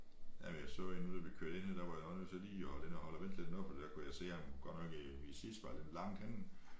Jamen jeg så en nu da vi kørte ind her der var jeg også nødt til lige at holde ind og holde og vente lidt noget for der kunne jeg se ham godt nok i i sidespejlet langt henne